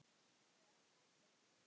Og þau hendast út.